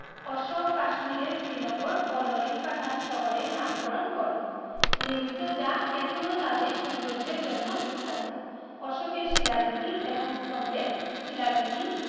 অশোক কাশ্মীরে শ্রীনগর ও ললিত পাঠান শহরের নামকরণ করেন । নির্মিত যা এখনও তাদের সৌন্দর্যের জন্য বিখ্যাত। অশোকের শিলালিপি এবং স্তম্ভে র শিলালিপি